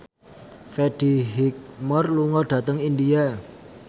Freddie Highmore lunga dhateng India